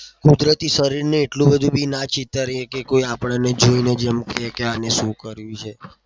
કુદરતી શરીરને એટલું બધુ ભી ના ચીતરીએ કે કોઈ આપણને જોઇને જ એમ કે આને શું કર્યું છે?